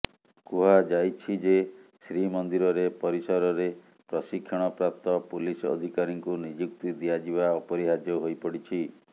କୁହାଯାଇଛି ଯେ ଶ୍ରୀମନ୍ଦିରରେ ପରିସରରେ ପ୍ରଶିକ୍ଷଣ ପ୍ରାପ୍ତ ପୁଲିସ ଅଧିକାରୀଙ୍କୁ ନିଯୁକ୍ତି ଦିଆଯିବା ଅପରିହାର୍ଯ୍ୟ ହୋଇପଡିଛି